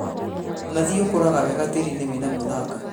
Mũnathi ũkũraga wega tĩri-inĩ wĩna mũthanga